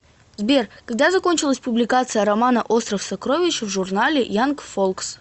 сбер когда закончилась публикация романа остров сокровищ в журнале янг фолкс